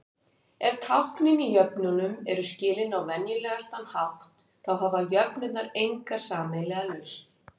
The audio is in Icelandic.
Ef táknin í jöfnunum eru skilin á venjulegasta hátt, þá hafa jöfnurnar enga sameiginlega lausn.